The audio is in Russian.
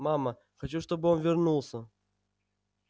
мама хочу чтобы он вернулся